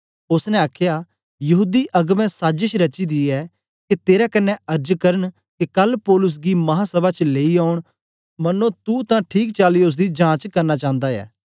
ओसने आखया यहूदी अगबें साजश रची दी ऐ के तेरे कन्ने अर्ज करन के कल पौलुस गी महासभा च लेई औन मन्नो तू तां ठीक चाली ओसदी जांच करना चांदा ऐं